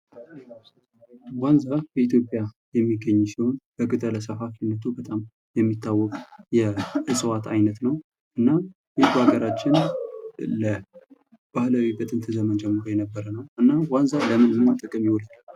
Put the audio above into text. ዋንዛ ኢትዮጵያ የሚገኝ በቀጠለ ሰፋፊነቱ የሚታወቅ የእዋት አይነት ነው። እና ይህን በሀገራችን ባህላዊ ከጥንት ጀምሮ የነበረ ነው። እና ዋንዛ ለምን ጥቅም ይውላል?